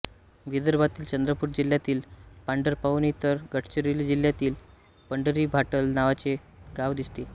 विदर्भातील चंद्रपूर जिल्ह्यातील पांढरपाऊनी तर गडचिरोली जिल्ह्यात पंढरी भाटल नावाचे गाव दिसते